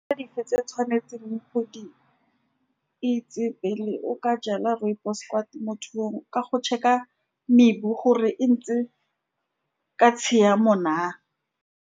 Dife tse o tshwanetseng go di itse, pele o ka jala rooibos-e kwa temothuong, ke go check-a mebu gore e ntse ka tshiamo na.